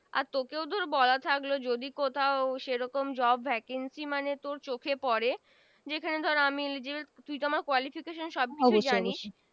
আর তোকেও ধর বলা থাকলো যদি কোথাও সে রকম Job vacancy মানে তোর চোখে পরে যে খানে ধর আমি যে তুই তো আমার Qualification সব তো জানিস অবশ্যই